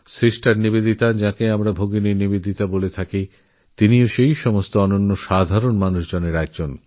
sister Nivedita যাঁকে আমরাভালোবাসায় শ্রদ্ধায় ভগিনী নিবেদিতা বলেই জানি তিনিও এই সব অসাধারণ মহামানবদেরএকজন